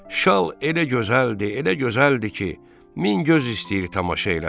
Şal elə gözəldi, elə gözəldi ki, min göz istəyir tamaşa eləsin.